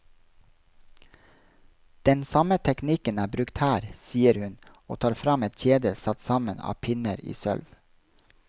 Den samme teknikken er brukt her, sier hun, og tar frem et kjede satt sammen av pinner i sølv.